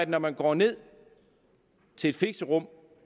når man går ned til et fixerum